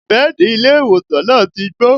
Bẹ́ẹ̀dì ilé ìwòsàn náà ti gbó